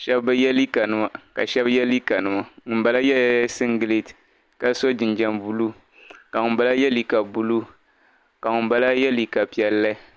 Shɛba bi yɛ liikanima ka shɛbi yɛ liikanima. Ŋun bala yɛ la singet ka so jinjam blue, ka ŋun bala yɛ liika blue. Ka ŋun bala yɛ liika piɛlli.